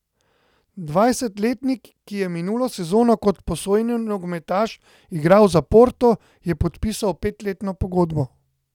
Dvajsetletnik, ki je minulo sezono kot posojeni nogometaš igral za Porto, je podpisal petletno pogodbo.